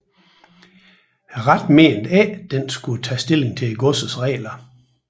Retten mente ikke at den skulle tage stilling til godsets regler